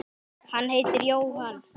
Hann heitir Jóhann